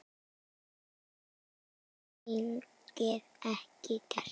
Það hefði þingið ekki gert.